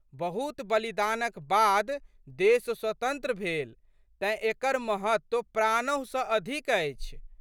बहुत बलिदानक बाद देश स्वतंत्र भेल तेँ, एकर महत्व प्राणहु सँ अधिक अछि।